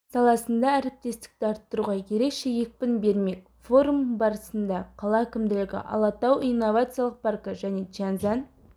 саласында әріптестікті арттыруға ерекше екпін бермек форум барысында қала әкімдігі алатау инновациялық паркі және чяньзянь